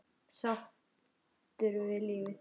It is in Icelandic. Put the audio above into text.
Sáttur við lífið.